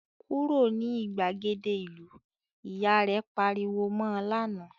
"Kúrò ní ìgbàgede ìlú!", Ìyá rẹ̀ pariwo mọ lánàá